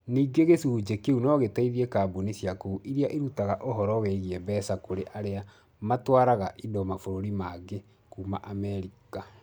Ningĩ gĩcunjĩ kĩu no gĩteithie kambuni cia kũu iria irutaga ũhoro wĩgiĩ mbeca kũrĩ arĩa matwaraga indo mabũrũri mangĩ kuuma Amerika.